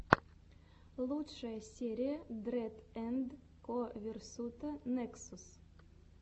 лучшая серия дрэд энд ко версута нексус